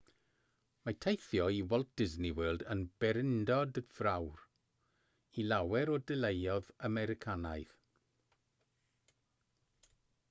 mae teithio i walt disney world yn bererindod fawr i lawer o deuluoedd americanaidd